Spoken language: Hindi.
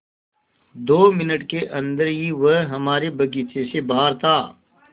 दो मिनट के अन्दर ही वह हमारे बगीचे से बाहर था